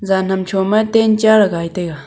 jaan ham choma tent cha ley gai taiga.